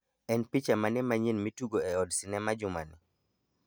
en picha mane manyien mitugo e od sinema juma ni